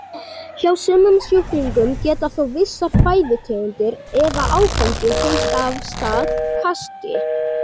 Hjá sumum sjúklingum geta þó vissar fæðutegundir eða áfengi hrint af stað kasti.